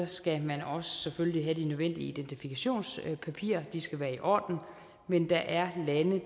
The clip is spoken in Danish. skal man selvfølgelig også have de nødvendige identifikationspapirer de skal være i orden men der er lande